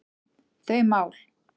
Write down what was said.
þau mál.